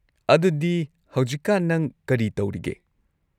ꯑꯗꯨꯗꯤ ꯍꯧꯖꯤꯛꯀꯥꯟ ꯅꯪ ꯀꯔꯤ ꯇꯧꯔꯤꯒꯦ?